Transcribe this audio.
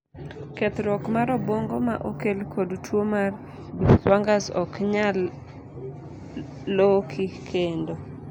kethruok mar obwongo ma okel kod tuo mar binswanger's ok nyal loki kendo